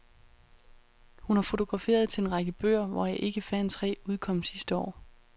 Hun har fotograferet til en række bøger, hvoraf ikke færre end tre udkom sidste år.